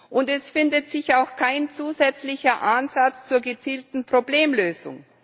Und es findet sich auch kein zusätzlicher Ansatz zur gezielten Problemlösung!